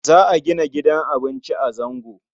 Za a gina gidan abinci a Zango.